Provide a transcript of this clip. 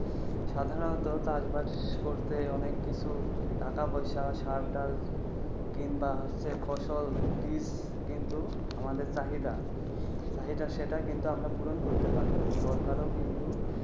সাধারণত চাষবাস করতে অনেক কিন্তু টাকা পয়সা সারটার দরকার। কিংবা ফসল বীজ কিন্তু আমাদের চাহিদা, চাহিদা সেটা কিন্তু আমরা পূরণ করতে পারিনি। সরকারও কিন্তু